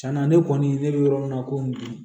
Tiɲɛna ne kɔni ne bɛ yɔrɔ min na komi bi